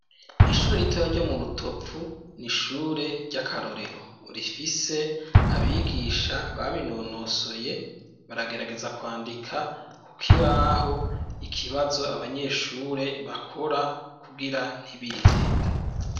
Ishure ritoraya ryo mu Rutovu n'ishure ry'akarorero rifise abigisha babinonosoye baragerageza kwandika kukibaho ikibazo abanyeshure bakora kugira ntibihende.